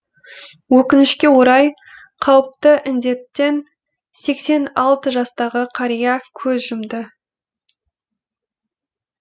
өкінішке орай қауіпті індеттен сексен алты жастағы қария көз жұмды